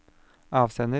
avsender